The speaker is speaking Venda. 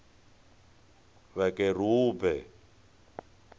vhakerube